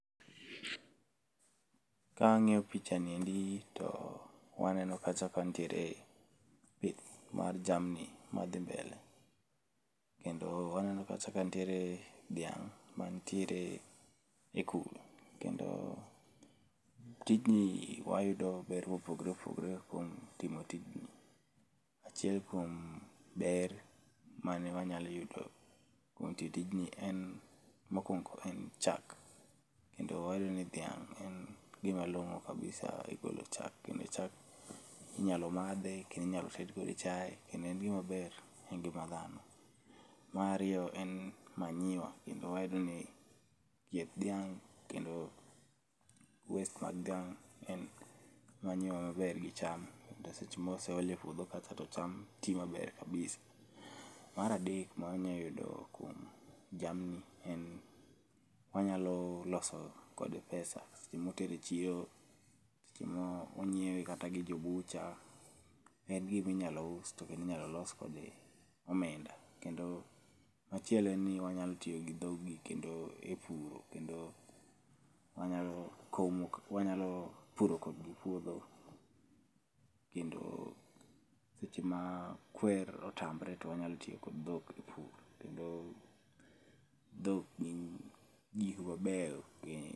Kang'iyo pichani endi gi to waneno kacha ka nitiere pith mar jamni madhi mbele. Kendo waneno kacha ka nitiere dhiang' manitiere e kul, kendo tijni wayudo ber mopogore opogore kuom timo tijni. Achiel kuom ber mane wanyalo yudo kuom ti tijni ni en mokwongo en chak. Kendo wayudo ni dhiang' en gimalongo kabisa e golo chak, kendo chak inyalo madhe, kendo inyalo ted kode chaye kendo en gimaber e ngima dhano. Mar ariyo en manyiwa, kendo wayudo ni chieth dhiang', kendo waste mag dhiang' en manyiwa maber gi cham. To seche moseol e puodho kacha ,to cham ti maber kabisa. Mar adek manya yudo kuom jamni en ,wanyalo loso kode pesa ,seche motere e chiro, seche monyiewe kata gi jo butcher, en giminyalo us to kendo inyalo los kode omenda. Kendo machielo en ni wanyalo tiyo gi dhoggi kendo e puro, kendo wanyalo puro kodgi puodho, kendo seche ma kwer otamre, to wanyalo tiyo gi dhok e pur, kendo dhok gin gik mabeyo.